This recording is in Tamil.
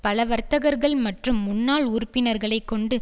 பல வர்த்தகர்கள் மற்றும் முன்னாள் உறுப்பினர்களை கொண்டு